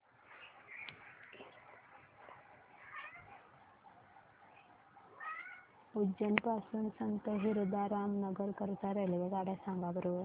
उज्जैन पासून संत हिरदाराम नगर करीता रेल्वेगाड्या सांगा बरं